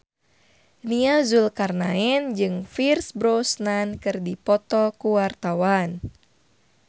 Nia Zulkarnaen jeung Pierce Brosnan keur dipoto ku wartawan